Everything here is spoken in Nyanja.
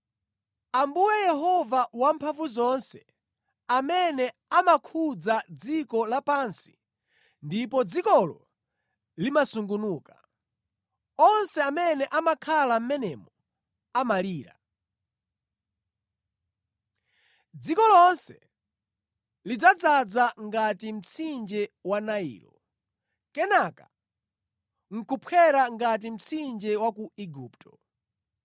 Ambuye Yehova Wamphamvuzonse amene amakhudza dziko lapansi ndipo dzikolo limasungunuka, onse amene amakhala mʼmenemo amalira. Dziko lonse lidzadzaza ngati mtsinje wa Nailo, kenaka nʼkuphwera ngati mtsinje wa ku Igupto.